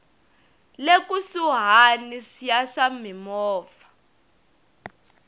le kusuhani ya swa mimovha